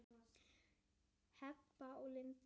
Heba og Linda.